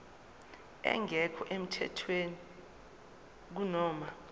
engekho emthethweni kunoma